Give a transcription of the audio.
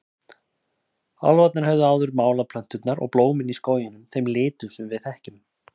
Álfarnir höfðu áður málað plönturnar og blómin í skóginum þeim litum sem við þekkjum.